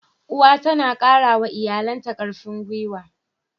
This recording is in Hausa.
Uwa tana kara wa iyalanta karfin gwuiwa.